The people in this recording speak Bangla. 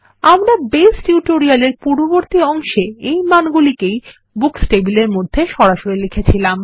আমরা বেস টিউটোরিয়ালের পূর্ববর্তী অংশে এই মানগুলিকেই বুকস টেবিলের মধ্যে সরাসরি লিখেছিলাম